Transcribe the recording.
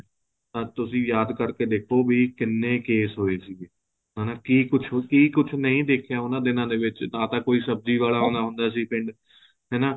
ਹਾਂ ਤੁਸੀਂ ਯਾਦ ਕਰਕੇ ਦੇਖੋ ਭੀ ਕਿੰਨੇ case ਹੋਏ ਸੀ ਹਨਾ ਕਿ ਕੁੱਛ ਨਹੀਂ ਦੇਖਿਆ ਉਹਨਾਂ ਦਿਨਾ ਦੇ ਵਿੱਚ ਨਾ ਤਾਂ ਕੋਈ ਸਬਜੀ ਵਾਲਾ ਆਉਂਦਾ ਸੀ ਉਹਨਾਂ ਦਿਨਾ ਦੇ ਵਿੱਚ ਪਿੰਡ ਹਨਾ